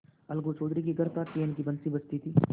अलगू चौधरी के घर था तो चैन की बंशी बजती थी